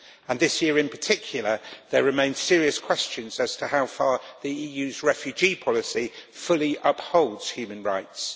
And this year, in particular, there remain serious questions as to how far the EU's refugee policy fully upholds human rights.